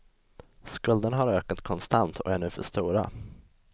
Skulderna har ökat konstant och är nu för stora.